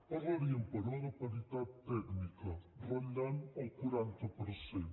parlaríem però de paritat tècnica que ratlla el quaranta per cent